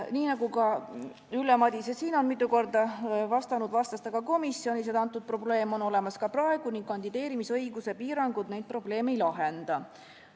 Nii nagu Ülle Madise siin on mitu korda vastanud, vastas ta ka komisjonis, et antud probleem on olemas ka praegu ning kandideerimisõiguse piirangud neid probleeme ei lahenda.